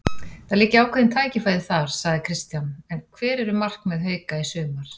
Það liggja ákveðin tækifæri þar, segir Kristján en hver eru markmið Hauka í sumar?